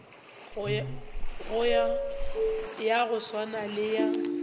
ya go swana le ya